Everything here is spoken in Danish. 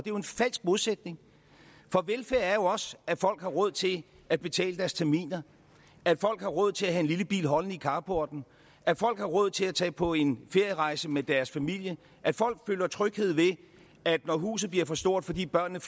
er en falsk modsætning for velfærd er jo også at folk har råd til at betale deres terminer at folk har råd til at have en lille bil holdende i carporten at folk har råd til at tage på en ferierejse med deres familie at folk føler tryghed ved at når huset bliver for stort fordi børnene